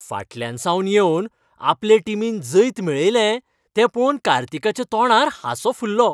फाटल्यानसावन येवन आपले टीमीन जैत मेळयलें तें पळोवन कार्तिकाच्या तोंडार हांसो फुललो.